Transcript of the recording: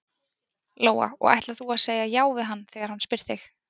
Lóa: Og ætlar þú að segja já við hann þegar hann spyr þig?